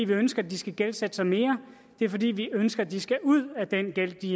vi ønsker at de skal gældsætte sig mere det er fordi vi ønsker at de skal ud af den gæld de